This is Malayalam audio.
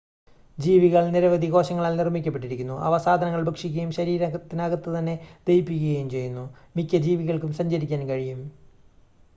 ജീവികൾ നിരവധി കോശങ്ങളാൽ നിർമ്മിക്കപ്പെട്ടിരിക്കുന്നു അവ സാധനങ്ങൾ ഭക്ഷിക്കുകയും ശരീരത്തിനകത്ത് തന്നെ ദഹിപ്പിക്കുകയും ചെയ്യുന്നു മിക്ക ജീവികൾക്കും സഞ്ചരിക്കാൻ കഴിയും